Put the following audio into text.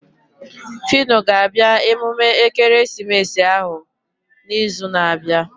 Fino ga-abịa emume ekeresimesi ahụ na izu na abịa